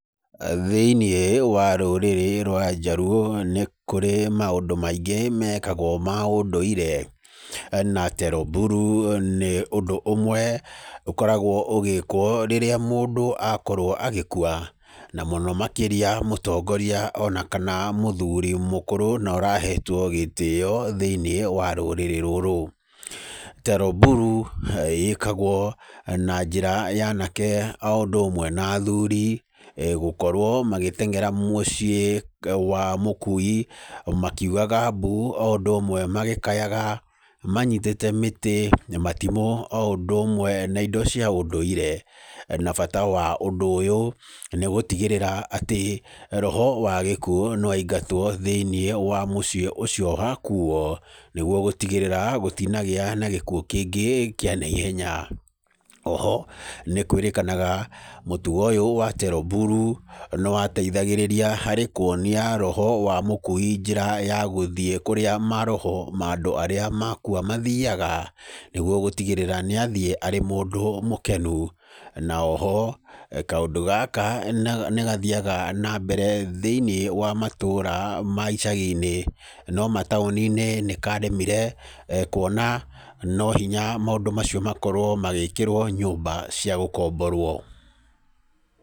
Thĩinĩ wa rũrĩrĩ rwa Njaruo nĩ kurĩ maũndũ maingĩ mekagwo ma ũndũire, na Tero Buru nĩ ũndũ ũmwe ũkoragwo ũgĩkwo rĩrĩa mũndũ akorwo agĩkua, na mũno makĩria mũtongoria ona kana mũthuri mũkũrũ na ũrahetwo gĩtĩo thĩini wa rũrĩrĩ rũrũ. Tero Buru ĩkagwo na njĩra ya anake o ũndũ ũmwe na athuri gũkorwo magĩteng'era muciĩ wa mũkui makiugaga mbu o ũndũ magĩkayaga manyitĩte mĩtĩ na matimũ o ũndũ ũmwe na indo cia ũndũire. Na bata wa ũndũ ũyũ nĩ gũtigĩrĩra atĩ roho wa gĩkuũ nĩ waingatwo thĩini wa muciĩ ũcio wakuuo, nĩ guo gũtigĩrĩra gũtinagĩa gĩkuũ kĩngĩ kĩa naihenya. Oho, nĩ kwĩrĩkanaga mũtugo ũyũ wa Tero Buru nĩ wateithagĩrĩria harĩ kũonia roho wa mũkui njĩra ya gũthiĩ kũrĩa maroho ma andũ arĩa makua mathiaga, nĩ guo gũtigĩrĩra nĩ athiĩ arĩ mũndũ mũkenu, na oho, kaũndũ gaka nĩ gathiaga na mbere thĩini wa matũra ma icagi-inĩ, no mataũni-inĩ nĩ karemire kũona no hinya maũndũ macio makorwo magĩkĩrwo nyũmba cia gũkomborwo.